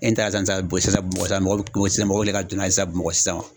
E ɲɛ t'ala sisan sisan bamakɔ sisan mɔgɔw be wele ka don n'a ye sisan bamakɔ sisan wa